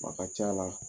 A ka ca la